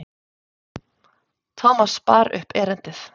Thomas bar upp erindið.